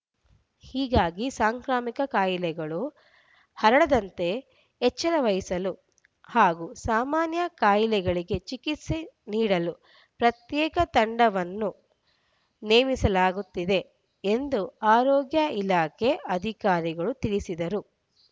ಹೀಗಾಗಿ ಸಾಂಕ್ರಾಮಿಕ ಕಾಯಿಲೆಗಳು ಹರಡದಂತೆ ಎಚ್ಚರವಹಿಸಲು ಹಾಗೂ ಸಾಮಾನ್ಯ ಕಾಯಿಲೆಗಳಿಗೆ ಚಿಕಿತ್ಸೆ ನೀಡಲು ಪ್ರತ್ಯೇಕ ತಂಡವನ್ನು ನೇಮಿಸಲಾಗುತ್ತಿದೆ ಎಂದು ಆರೋಗ್ಯ ಇಲಾಖೆ ಅಧಿಕಾರಿಗಳು ತಿಳಿಸಿದರು